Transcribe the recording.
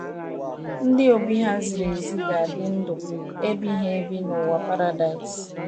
Ndị obi ha ziri ezi ga - adị ndụ ebighị ebi n’ụwa paradaịs